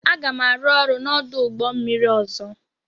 Aga m arụ ọrụ n'ọdụ ụgbọ mmiri ọzọ.